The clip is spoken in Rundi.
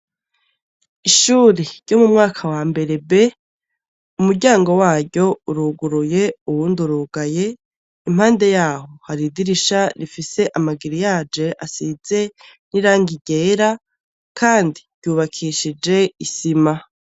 Ishuri ryo mu mwaka wa mbere b, umuryango waryo uruguruye uwundi urugaye, impande yaho hari idirisha rifise amagiriyaje asize n'irangi ryera kandi ryubakishije isima.